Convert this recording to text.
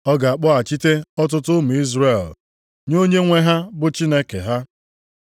Ọ ga-akpọghachite ọtụtụ ụmụ Izrel nye Onyenwe ha bụ Chineke ha.